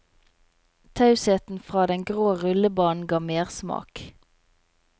Tausheten fra den grå rullebanen ga mersmak.